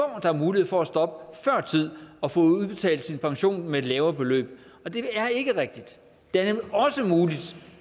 har mulighed for at stoppe før tid og få udbetalt sin pension med et lavere beløb og det er ikke rigtigt det er nemlig